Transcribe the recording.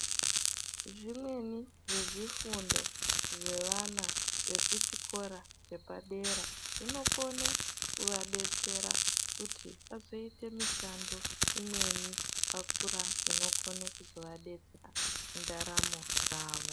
Zvimweni zvezvifundo zvevana vekuchikora zvepadera zvinokone kuvadetsera kuti vazoite mishando imweni vakura inokone kuzovadetsera mundaramo dzavo.